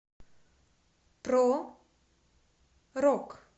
про рок